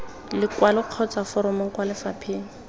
lekwalo kgotsa foromo kwa lefapheng